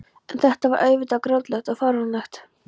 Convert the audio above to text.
En þetta var auðvitað grátlegt og fáránlegt.